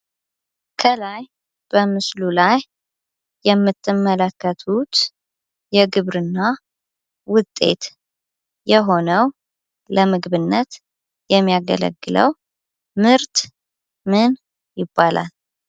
ከላይ በምስሉ ላይ የምትመለከቱት የግብርና ውጤት የሆነው ለምግብነት የሚያገለግለው ምርት ምን ይባላል?